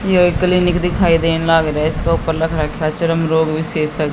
यो एक क्लिनिक दिखाई देन लाग रहे रोग विशेषज्ञ--